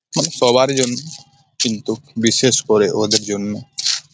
মানে সবারই জন্য কিন্তু বিশেষ করে ওদের জন্য ।